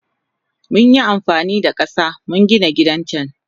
Munyi amfanida kasa muka Gina gidan can.